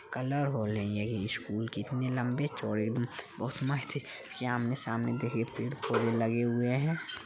Colour हो रही है ये स्कूल कितने लंबे चौड़े म्म बहोत मस्त ये आमने-सामने देखिए पेड़ पौधे लगे हुए हैं ।